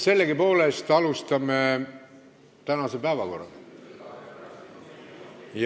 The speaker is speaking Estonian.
Sellegipoolest läheme tänase päevakorra juurde.